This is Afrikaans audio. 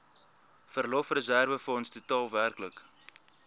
verlofreserwefonds totaal werklik